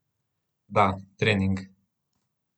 Da, trening.